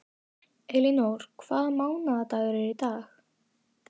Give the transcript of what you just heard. Elínór, hvaða mánaðardagur er í dag?